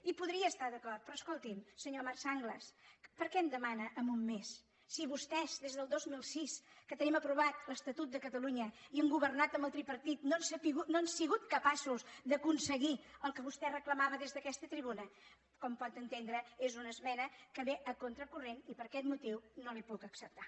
hi podria estar d’acord però escolti’m senyor marc sanglas per què em demana en un mes si vostès des del dos mil sis que tenim aprovat l’estatut de catalunya i han governat amb el tripartit no han sigut capaços d’aconseguir el que vostè reclamava des d’aquesta tribuna com pot entendre és una esmena que ve a contracorrent i per aquest motiu no la hi puc acceptar